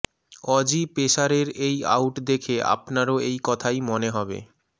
Aussie পেসারের এই out দেখে আপনারও এই কথাই মনে হবে